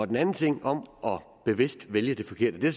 den anden ting om bevidst at vælge det forkerte